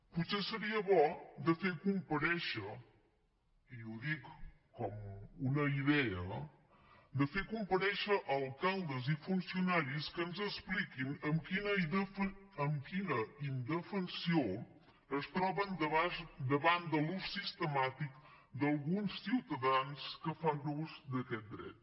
potser seria bo de fer comparèixer i ho dic com una idea alcaldes i funcionaris que ens expliquin amb quina indefensió es troben davant de l’ús sistemàtic d’alguns ciutadans que fan ús d’aquest dret